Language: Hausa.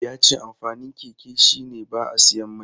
Ya ce amfanin keke shi ne ba a siyan mai.